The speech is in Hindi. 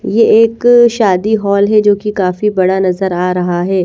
ये एक शादी हॉल है जो कि काफी बड़ा नजर आ रहा है।